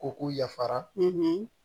Ko k'u yafara